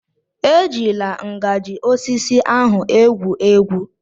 E jila ngajị osisi ahụ egwu egwu.